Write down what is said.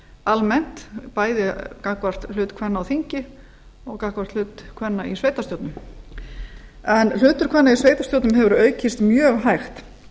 almennt bæði gagnvart hlut kvenna á þingi og gagnvart hlut kvenna í sveitarstjórnum hlutur kvenna í sveitarstjórnum hefur aukist mjög hægt